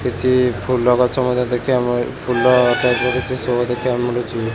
କିଛି ଫୁଲ ଗଛ ମଧ୍ୟ ଦେଖିବାକୁ ମିଳୁ ଫୁଲ କିଛି ସୋ ଦେଖିବାକୁ ମିଳୁଛି।